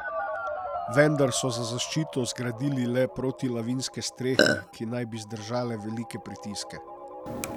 Vendar so za zaščito zgradili le protilavinske strehe, ki naj bi zdržale velike pritiske.